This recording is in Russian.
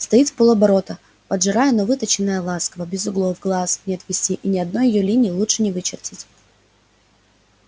стоит в пол оборота поджарая но выточенная ласково без углов глаз не отвести и ни одной её линии лучше не вычертить